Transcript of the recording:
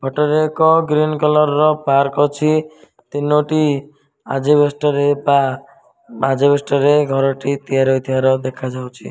ଏଠାରେ ଏକ green colour ର ପାର୍କ ଅଛି ତିନୋଟି ଆଜବେଷ୍ଟ୍ ରେ ପା ଆଜବେଷ୍ଟ୍ ରେ ଘରଟି ତିଆରି ହୋଇଥିବାର ଦେଖା ଯାଉଚି।